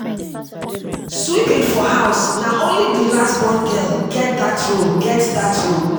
sweeping for house na only di last born girl get dat role get dat role